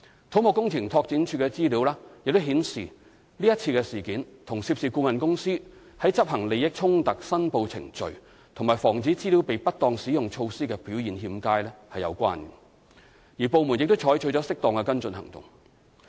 土木工程拓展署的資料亦顯示，這次事件與涉事顧問公司在執行利益衝突申報程序及防止資料被不當使用措施的表現欠佳有關，而部門已採取了適當的跟進行動。